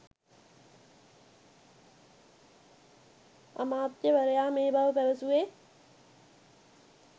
අමාත්‍යවරයා මේ බව පැවැසුවේ